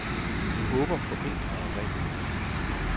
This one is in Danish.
Vi håber på enklere regler.